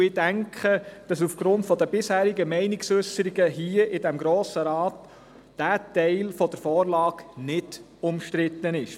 Aufgrund der bisherigen Meinungsäusserungen hier im Grossen Rat gehe ich davon aus, dass dieser Teil der Vorlage nicht umstritten ist.